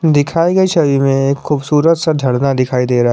दिखाई गई छवि में एक खूबसूरत सा झरना दिखाई दे रहा है।